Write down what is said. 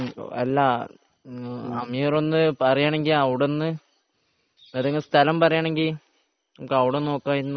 അല്ല അമീർ ഒന്ന് പറയാണെങ്കിൽ അവിടുന്ന് ഏതെങ്കിലും സ്ഥലം പറയാണെങ്കിൽ നമുക്ക് അവിടെ ഒന്ന് നോക്കാമായിരുന്നു